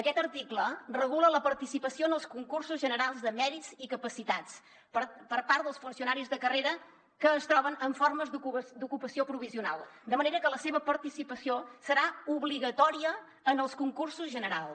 aquest article regula la participació en els concursos generals de mèrits i capacitats per part dels funcionaris de carrera que es troben en formes d’ocupació provisional de manera que la seva participació serà obligatòria en els concursos generals